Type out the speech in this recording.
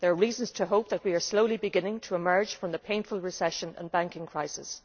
There are reasons to hope that we are slowly beginning to emerge from the painful recession and banking crisis.